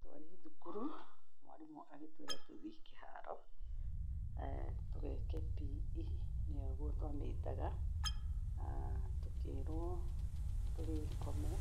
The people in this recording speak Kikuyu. Twarĩ thukuru, mwarimũ agĩtũĩra tũthiĩ kĩharo, tũgeke PE, nĩguo twamĩtaga, tũkĩrwo tũgĩkome,